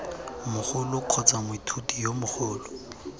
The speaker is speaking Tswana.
mogolo kgotsa moithuti yo mogolo